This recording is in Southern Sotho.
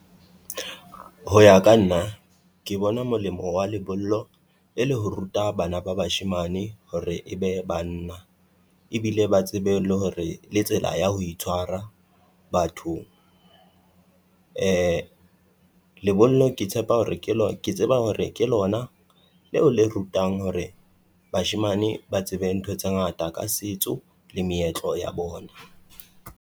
Ho ya ka nna ke bona molemo wa lebollo e le ho ruta bana ba bashemane hore e be banna. Ebile ba tsebe le hore le tsela ya ho itshwara bathong. Lebollo ke tshepa hore ke lo ke tseba hore ke lona leo le rutang hore bashemane ba tsebe ntho tse ngata ka setso le meetlo ya bona.